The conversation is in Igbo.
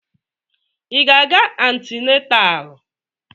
Ị na-aga antịnatal?